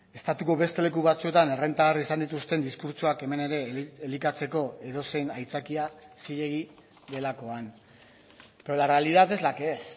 estatuko beste leku batzuetan errentagarri izan dituzten diskurtsoak hemen ere elikatzeko edozein aitzakia zilegi delakoan pero la realidad es la que es